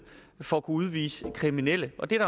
for at kunne udvise kriminelle og det er